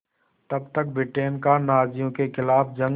तब तक ब्रिटेन का नाज़ियों के ख़िलाफ़ जंग